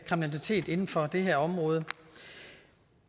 kriminalitet inden for det her område